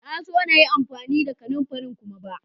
Na zo na yi amfani da kananfarin kuma ba.